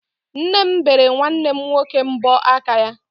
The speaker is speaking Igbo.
Nne m bere nwanne m nwoke mbọ aka ya.